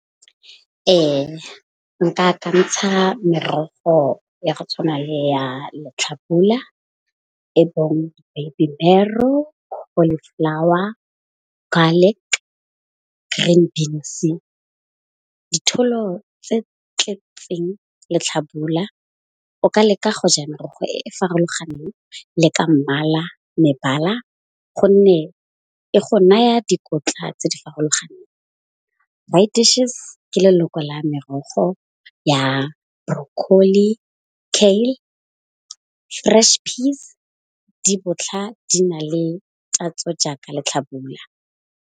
Nka kantsha merogo ya go tshwana le ya letlhabula. E baby marrow, cauliflower, garlic, green beans ditholo tse tletseng letlhabula. O ka leka go ja merogo e farologaneng le ka mmala mebala. Gonne e go naya dikotla tse di farologaneng dishes ke leloko la merogo ya broccoli, fresh peas di botlha di na le tatso jaaka letlhabula.